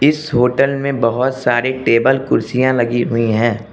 इस होटल में बहोत सारे टेबल कुर्सियां लगी हुई हैं।